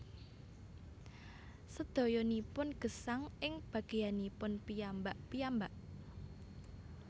Sedayanipun gesang ing bageyanipun piyambak piyambak